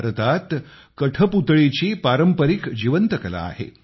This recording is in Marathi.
भारतात कठपुतळी ही सुद्धा पारंपारिक कला आहे